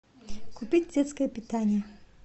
купить детское питание